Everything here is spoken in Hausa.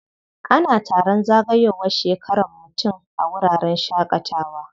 Ana taron zagayowar shekaran mutum a wuraren shaƙatawa.